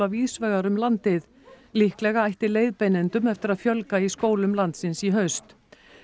víðsvegar um landið líklega ætti leiðbeinendum eftir að fjölga í skólum landsins í haust